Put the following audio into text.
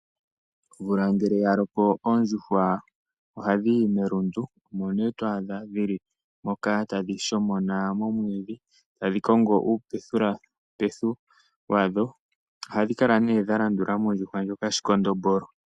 Omvula ngele ya loko, oondjuhwa ohadhi yi melundu. Omo nee twadha dhili moka tadhi shomona momwiidhi tadhi kongo uupethulapethu wadho. Ohadhi kala nee dha landula mondjuhwa ndjoka shikondombolo.